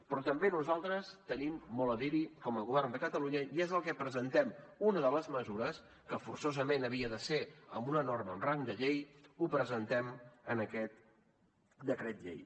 però també nosaltres tenim molt a dir hi com a govern de catalunya i és el que presentem una de les mesures que forçosament havia de ser amb una norma amb rang de llei ho presentem en aquest decret llei